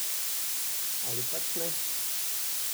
Ali pač ne?